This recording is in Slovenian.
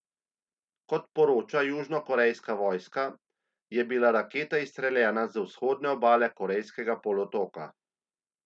Kot poroča južnokorejska vojska, je bila raketa izstreljena z vzhodne obale korejskega polotoka.